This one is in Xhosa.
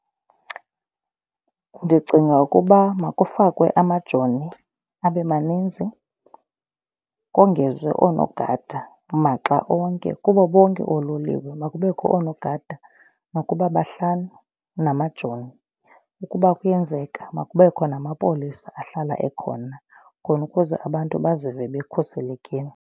Ndicinga ukuba makufakwe amajoni abe maninzi kongezwe oonogada maxa onke kubo bonke oololiwe. Makubekho oonogada nokuba bahlanu namajoni ukuba kuyenzeka makubekho namapolisa ahlala ekhona khona ukuze abantu bazive bekhuselekile.